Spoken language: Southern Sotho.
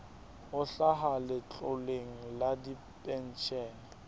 ho hlaha letloleng la dipenshene